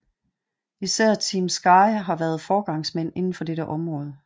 Især Team Sky har været foregangsmænd indenfor det område